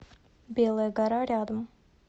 белая гора рядом